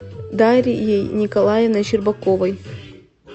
дарьей николаевной щербаковой